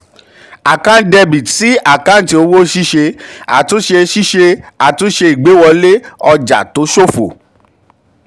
a/c dr sí àkáǹtì òwò ṣíṣe: àtúnṣe ṣíṣe: àtúnṣe ìgbéwọlé ọjà tó ṣòfò.